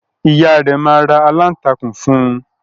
Ìyá rẹ̀ máa ra aláǹtakùn fún un.